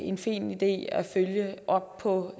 en fin idé at følge op på